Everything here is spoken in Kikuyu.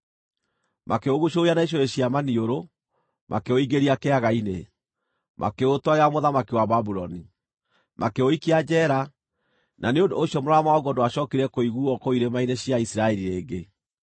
Makĩũguucũrũria na icũhĩ cia maniũrũ, makĩũingĩria kĩaga-ini, makĩũtwarĩra mũthamaki wa Babuloni. Makĩũikia njeera, na nĩ ũndũ ũcio mũraramo waguo ndwacookire kũiguuo kũu irĩma-inĩ cia Isiraeli rĩngĩ.